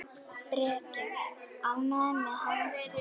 Breki: Ánægður með hann?